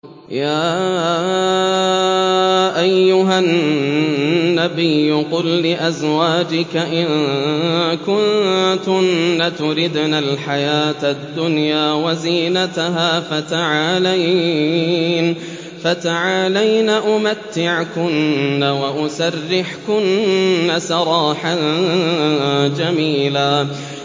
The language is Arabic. يَا أَيُّهَا النَّبِيُّ قُل لِّأَزْوَاجِكَ إِن كُنتُنَّ تُرِدْنَ الْحَيَاةَ الدُّنْيَا وَزِينَتَهَا فَتَعَالَيْنَ أُمَتِّعْكُنَّ وَأُسَرِّحْكُنَّ سَرَاحًا جَمِيلًا